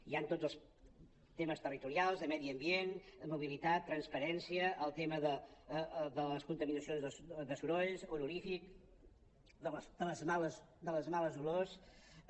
hi han tots els temes territorials de medi ambient mobilitat transparència el tema de les contaminacions de sorolls odoríferes de les males olors